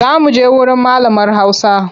Za muje wurin malamar hausa.